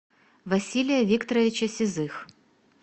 василия викторовича сизых